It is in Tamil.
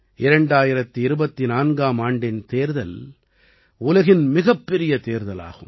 2024ஆம் ஆண்டின் தேர்தல் உலகின் மிகப்பெரிய தேர்தலாகும்